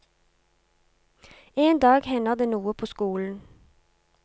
En dag hender det noe på skolen.